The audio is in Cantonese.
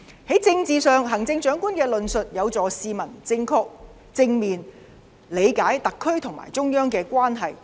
在政治上，行政長官的論述有助市民正確、正面理解特區和中央的關係。